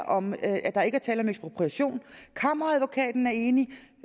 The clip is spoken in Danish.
om at der ikke er tale om ekspropriation kammeradvokaten er enig